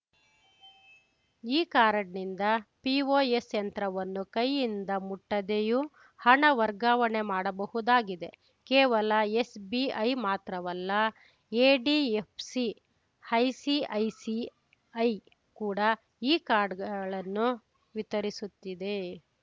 ಈ ಕಾರ್ಡ್‌ನಿಂದ ಪಿಒಎಸ್‌ ಯಂತ್ರವನ್ನು ಕೈಯಿಂದ ಮುಟ್ಟದೆಯೂ ಹಣ ವರ್ಗಾವಣೆ ಮಾಡಬಹುದಾಗಿದೆ ಕೇವಲ ಎಸ್‌ಬಿಐ ಮಾತ್ರವಲ್ಲ ಎಡಿಎಫ್‌ಸಿ ಐಸಿಐಸಿಐ ಕೂಡ ಈ ಕಾರ್ಡ್‌ಗಳನ್ನು ವಿತರಿಸುತ್ತಿದೆ